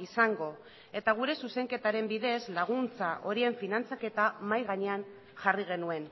izango eta gure zuzenketaren bidez laguntza horien finantzaketa mahai gainean jarri genuen